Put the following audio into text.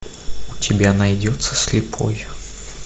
у тебя найдется слепой